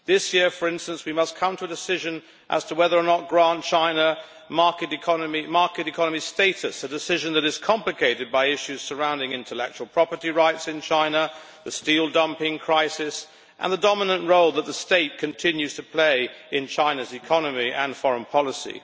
This year, for instance, we must come to a decision as to whether or not to grant China market economy status, a decision that is complicated by issues surrounding intellectual property rights in China, the steel dumping crisis and the dominant role that the State continues to play in China's economy and foreign policy.